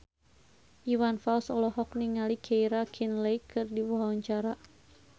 Iwan Fals olohok ningali Keira Knightley keur diwawancara